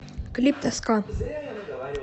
клип тоска